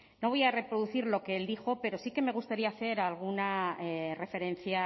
no voy a reproducir lo que él dijo pero sí que me gustaría hacer alguna referencia